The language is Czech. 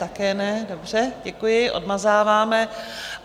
Také ne, dobře, děkuji, odmazáváme.